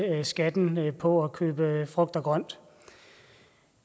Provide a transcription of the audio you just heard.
skatten på at købe frugt og grønt